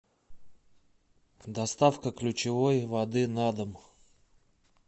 доставка ключевой воды на дом